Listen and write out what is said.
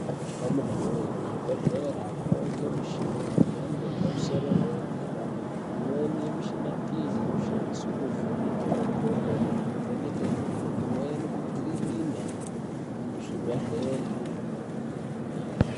Amunawe kuzvibhedhlera kwauye ngemishina yemhando yepamusoro yedera dera. Imweni yemishina iyi inoshandiswe kuvheneke makodo kuvheneke nyari imweni kukirina muzvibhedhlera.